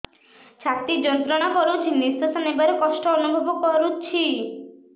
ଛାତି ଯନ୍ତ୍ରଣା କରୁଛି ନିଶ୍ୱାସ ନେବାରେ କଷ୍ଟ ଅନୁଭବ କରୁଛି